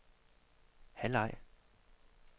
halvleg